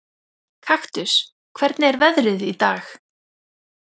Kaktus, hvernig er veðrið í dag?